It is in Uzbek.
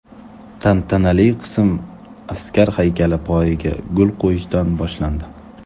Tantanali qism askar haykali poyiga gul qo‘yishdan boshlandi.